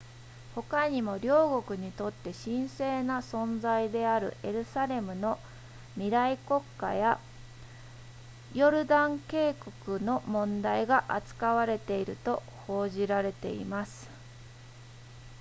ほかにも両国にとって神聖な存在であるエルサレムの未来国家やヨルダン渓谷の問題が扱われていると報じられています